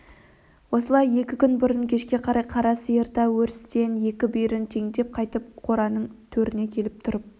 осылай екі күн бұрын кешке қарай қара сиыр да өрістен екі бүйірін теңдеп қайтып қораның төріне келіп тұрып